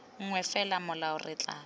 nngwe fela molao re tla